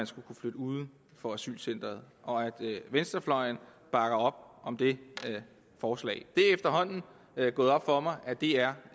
skal kunne flytte uden for asylcenteret og at venstrefløjen bakker op om det forslag det er efterhånden gået op for mig at det er